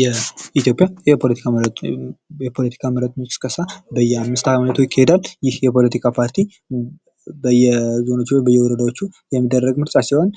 የ ኢትዮጵያ የፖለቲካ ምረጡኝ ቅስቀሳ በየአምስት ዓመቱ ይካሄዳል። ይህ የፖለቲካ ፓርቲ በየዞኖቹ በየወረዳዎቹ የሚደረግ ምርጫ ሲሆን፤